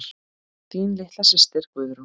Þín litla systir Guðrún.